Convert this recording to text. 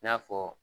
I n'a fɔ